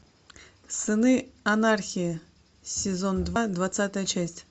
сыны анархии сезон два двадцатая часть